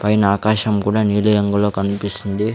పైన ఆకాశం కూడా నీలి రంగులో కన్పిస్తుంది.